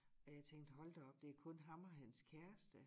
Og jeg tænkte hold da op det kun ham og hans kæreste